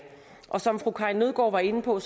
og som fru karin nødgaard var inde på